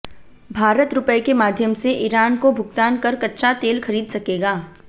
भारत रुपये के माध्यम से ईरान को भुगतान कर कच्चा तेल खरीद सकेगा